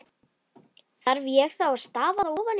Þarf ég þá að stafa það ofan í þig?